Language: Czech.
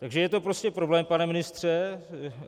Takže je to prostě problém, pane ministře.